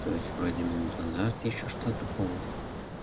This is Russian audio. то есть вроде минуту назад ещё что-то помнил